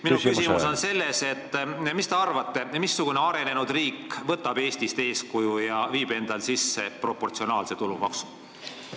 Minu küsimus on selline: mis te arvate, missugune arenenud riik võtab Eestist eeskuju ja viib sisse proportsionaalse tulumaksu?